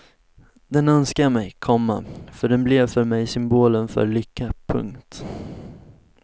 Den önskar jag mig, komma för den blev för mig symbolen för lycka. punkt